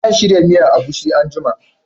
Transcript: Zan shirya miyan agushi anguma